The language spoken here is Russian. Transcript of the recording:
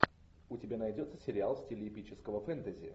у тебя найдется сериал в стиле эпического фэнтези